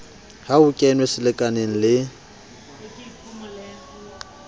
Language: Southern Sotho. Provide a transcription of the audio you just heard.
ha ho kenwe selekaneng le